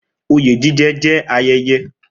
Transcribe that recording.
Oyè jíjẹ jẹ́ ayẹyẹ